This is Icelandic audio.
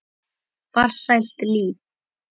Farsælt líf.